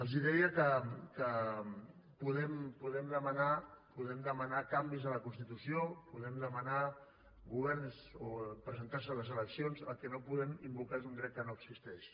els deia que podem demanar canvis a la constitució podem demanar governs o presentar se a les eleccions el que no podem invocar és un dret que no existeix